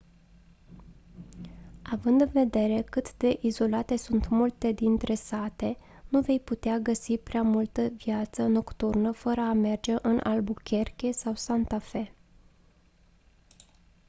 având în vedere cât de izolate sunt multe dintre sate nu vei putea găsi prea multă viață nocturnă fără a merge în albuquerque sau santa fe